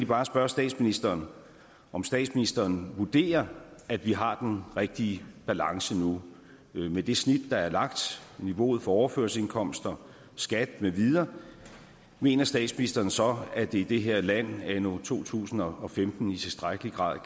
bare spørge statsministeren om statsministeren vurderer at vi har den rigtige balance nu med det snit der er lagt niveauet for overførselsindkomster skat med videre mener statsministeren så at det i det her land anno to tusind og femten i tilstrækkelig grad